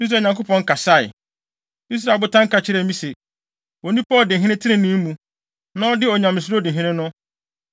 Israel Nyankopɔn kasae. Israel botan ka kyerɛɛ me se: ‘Onipa a odi hene trenee mu, na ɔde Onyamesuro di hene no,